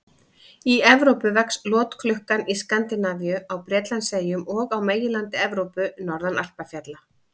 Í Evrópu vex lotklukkan í Skandinavíu, á Bretlandseyjum og á meginlandi Evrópu, norðan Alpafjalla.